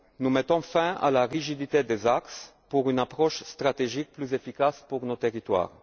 rural. Nous mettons fin à la rigidité des axes pour une approche stratégique plus efficace pour nos territoires.